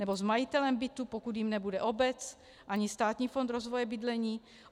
Nebo s majitelem bytu, pokud jím nebude obec ani Státní fond rozvoje bydlení?